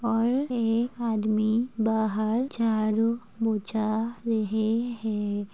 और एक आदमी बाहर झारू बोछा रहैं हैं ।